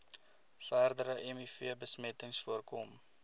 verdere mivbesmetting voorkom